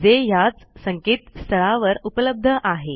जे ह्याच संकेतस्थळावर उपलब्ध आहे